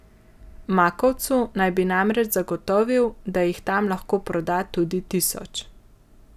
Makovcu naj bi namreč zagotovil, da jih tam lahko proda tudi tisoč.